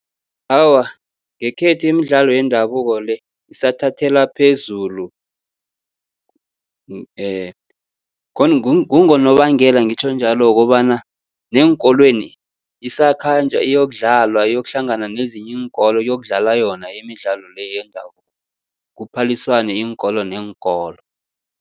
Awa, ngekhethu imidlalo yendabuko le isathathelwa phezulu. Kungonobangela ngitjho njalo wokobana, neenkolweni isakhanjwa iyokudlalwa iyokuhlangana nezinye iinkolo, kuyokudlalwa yona imidlalo le yendabuko, kuphalisane iinkolo neenkolo.